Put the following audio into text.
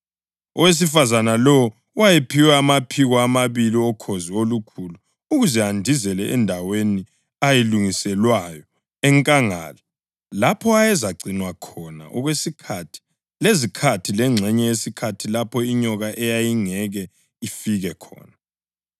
Owesifazane lowo wayephiwe amaphiko amabili okhozi olukhulu ukuze andizele endaweni ayilungiselwayo enkangala lapho ayezagcinwa khona okwesikhathi lezikhathi lengxenye yesikhathi lapho inyoka eyayingeke ifike khona.